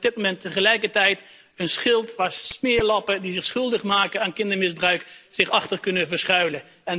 Maar dat is op dit moment tegelijkertijd een schild waarachter smeerlappen die zich schuldig maken aan kindermisbruik, zich kunnen verschuilen.